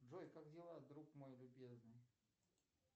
джой как дела друг мой любезный